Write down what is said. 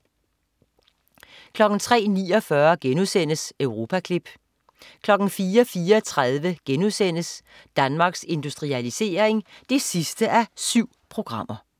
03.49 Europaklip* 04.34 Danmarks Industrialisering 7:7*